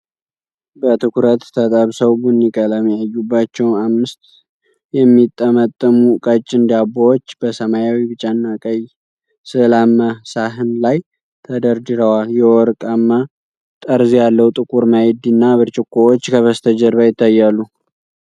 በትኩረት ተጠብሰው ቡኒ ቀለም ያዩባቸው አምስት የሚጠመጠሙ ቀጭን ዳቦዎች፣ በሰማያዊ፣ ቢጫና ቀይ ሥዕላማ ሳህን ላይ ተደርድረዋል። የወርቅማ ጠርዝ ያለው ጥቁር ማዕድ እና ብርጭቆዎች ከበስተጀርባ ይታያሉ።